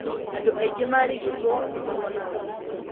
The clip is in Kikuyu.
Andũ aingĩ marigitwo nĩ mahonaga.